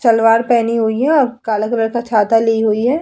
सलवार पहनी हुई है और काला कलर का छाता ली हुई है।